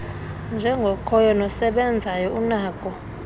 njengokhoyo nosebenzayo unako